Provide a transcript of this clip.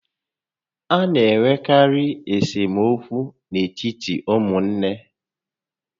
A na enwekarị esemokwu n'etiti ụmụnne